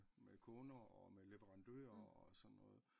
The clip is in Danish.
Med kunder og med leverandør og sådan noget